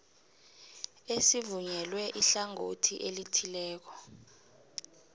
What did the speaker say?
esivunyelwe ihlangothi elithileko